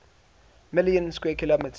million square kilometers